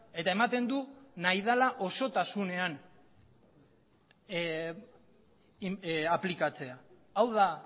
eta ematen du nahi dela osotasunean aplikatzea hau da